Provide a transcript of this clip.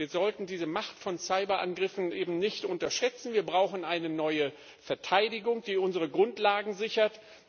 Wir sollten diese Macht von Cyberangriffen eben nicht unterschätzen Wir brauchen eine neue Verteidigung, die unsere Grundlagen sichert.